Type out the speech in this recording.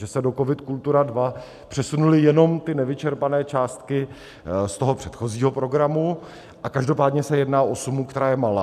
Že se do COVID - Kultura II přesunuly jenom ty nevyčerpané částky z toho předchozího programu, a každopádně se jedná u sumu, která je malá.